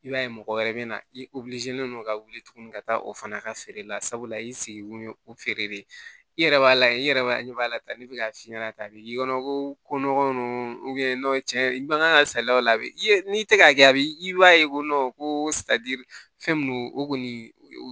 I b'a ye mɔgɔ wɛrɛ bɛ na i ka wuli tuguni ka taa o fana ka feere la sabula i segin kun ye o feere de ye i yɛrɛ b'a layɛ i yɛrɛ b'a ɲɛ b'a la ta ne bɛ k'a f'i ɲɛna tan a bɛ k'i kɔnɔ ko ko nɔgɔ ninnu cɛn i man kan ka saliya o la a bɛ ye n'i tɛ ka kɛ a bɛ i b'a ye ko ko fɛn min don o kɔni o